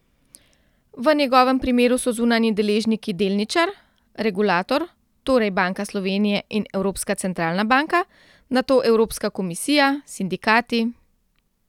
V njegovem primeru so zunanji deležniki delničar, regulator, torej Banka Slovenije in Evropska centralna banka, nato Evropska komisija, sindikati ...